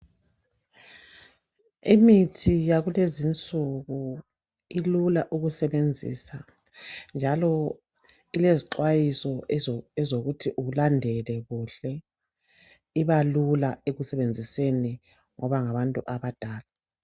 Imithi yakulezi insuku ilula ukusebenzisa njalo ilezixwayiso ezokuthi ulandele kuhle. Ibalula ekusebenziseni ngoba ngabantu abadala.